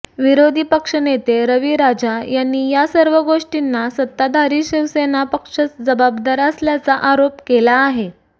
विरोधी पक्षनेते रवी राजा यांनी यासर्व गोष्टींना सत्ताधारी शिवसेना पक्षच जबाबदार असल्याचा आरोप केला आहे